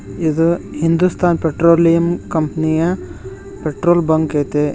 ಇದು ಹಿಂದುಸ್ತಾನ್ ಪೆಟ್ರೋಲಿಯಂ ಕಂಪನಿಯ petrol bunk ಐತೆ ಇಲ್--